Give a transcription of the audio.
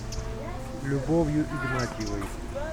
любовью игнатьевой